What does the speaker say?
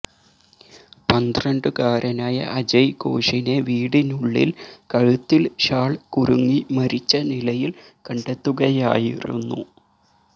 പന്ത്രണ്ടുകാരനായ അജയഘോഷിനെ വീടിനുള്ളിൽ കഴുത്തിൽ ഷാൾ കുരുങ്ങി മരിച്ച നിലയിൽ കണ്ടെത്തുകയായിരുന്നു